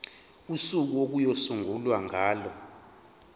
usuku okuyosungulwa ngalo